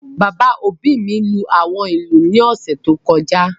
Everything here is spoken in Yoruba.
Bàbá òbí mi lú àwọn ìlú ní ọ̀sẹ̀ tó kọjá